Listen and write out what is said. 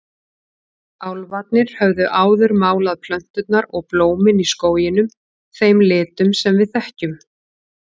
Álfarnir höfðu áður málað plönturnar og blómin í skóginum þeim litum sem við þekkjum.